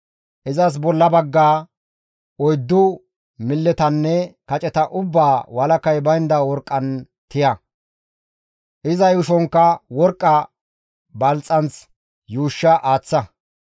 Izas bolla baggaa, oyddu milletanne kaceta ubbaa walakay baynda worqqan tiya; iza yuushonkka worqqa balxxanth yuushsha aaththa.